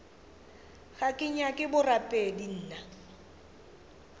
ga ke nyake borapedi nna